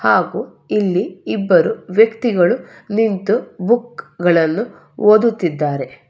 ಹಾಗು ಇಲ್ಲಿ ಇಬ್ಬರು ವ್ಯಕ್ತಿಗಳು ನಿಂತು ಬುಕ್ ಗಳನ್ನು ಓದುತ್ತಿದ್ದಾರೆ.